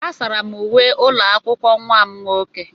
Asara m uwe ụlọ akwụkwọ nwa m nwoke.